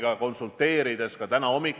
Üks puudutab välisüritusi ja teine siseüritusi.